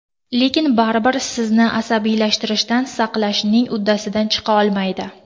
Lekin baribir sizni asabiylashishdan saqlashning uddasidan chiqa olmaydi.